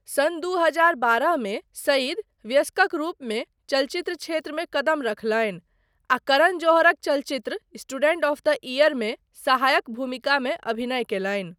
सन दू हजार बारह मे सईद वयस्कक रूपमे चलचित्र क्षेत्रमे कदम रखलनि आ करण जौहरक चलचित्र स्टुडेन्ट ऑफ़ द इअरमे सहायक भूमिकामे अभिनय कयलनि।